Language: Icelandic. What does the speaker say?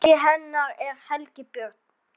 Maki hennar er Helgi Björn.